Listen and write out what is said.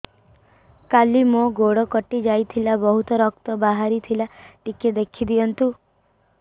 କାଲି ମୋ ଗୋଡ଼ କଟି ଯାଇଥିଲା ବହୁତ ରକ୍ତ ବାହାରି ଥିଲା ଟିକେ ଦେଖି ଦିଅନ୍ତୁ